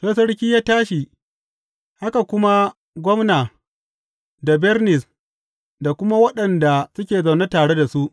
Sai sarki ya tashi, haka kuma gwamna da Bernis da kuma waɗanda suke zaune tare da su.